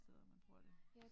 Så man bruger det